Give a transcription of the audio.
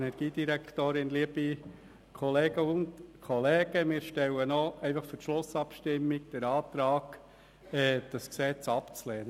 Für die Schlussabstimmung stellen wir den Antrag, dieses Gesetz abzulehnen.